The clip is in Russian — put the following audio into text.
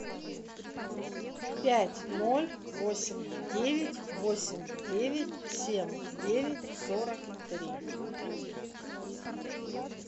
пять ноль восемь девять восемь девять семь девять сорок три